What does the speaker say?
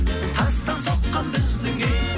тастан соққан біздің үй